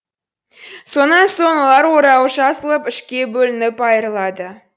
сонан соң олар орауы жазылып үшке бөлініп айырылады